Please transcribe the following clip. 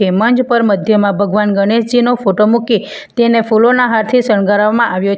એ મંજ પર મધ્યમાં ભગવાન ગણેશજીનો ફોટો મૂકી તેને ફૂલોના હારથી શણગારવામાં આવ્યો --